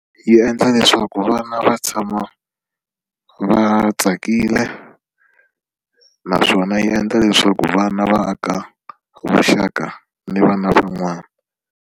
Yi endla leswaku vana va tshama va tsakile naswona yi endla leswaku vana va aka vuxaka ni vana van'wana.